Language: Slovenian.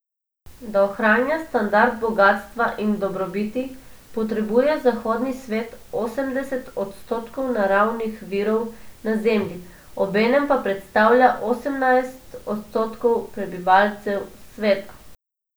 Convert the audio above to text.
Da ohranja standard bogastva in dobrobiti, potrebuje zahodni svet osemdeset odstotkov naravnih virov na Zemlji, obenem pa predstavlja osemnajst odstotkov prebivalcev sveta.